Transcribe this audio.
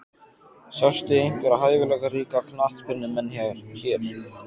Sástu einhverja hæfileikaríka knattspyrnumenn hér?